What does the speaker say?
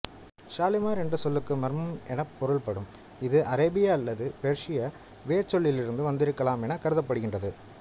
ஷாலிமார் என்ற சொல்லுக்கு மர்மம் எனப் பொருள்படும் இது அராபிய அல்லது பெர்சிய வேர்ச்சொல்லிலிருந்து வந்திருக்கலாம் என கருதப்படுகின்றது